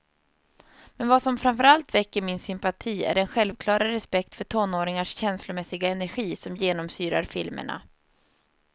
Men vad som framförallt väcker min sympati är den självklara respekt för tonåringars känslomässiga energi som genomsyrar filmerna.